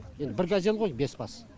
енді бір газель ғой бес бас